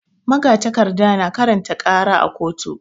Magatakarda na karanta ƙara a koto.